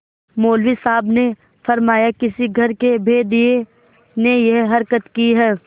मौलवी साहब ने फरमाया किसी घर के भेदिये ने यह हरकत की है